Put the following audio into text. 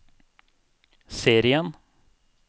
serien